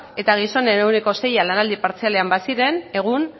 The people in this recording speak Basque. eta gizonen ehuneko seia lanaldi partzialean baziren egun